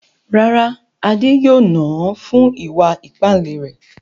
Rárá, Adé yóò nà án fún ìwà ìpáǹle rẹ̀.